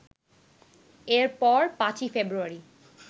এরপর ৫ই ফেব্রুয়ারি